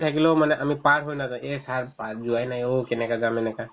থাকিলেও মানে আমি পাৰ হৈ নাযাও এই sir পাৰ যোৱায়ে নাই অ' কেনেকে যাম এনেকুৱা